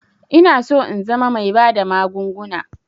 Inaso in zama bai bada magunguna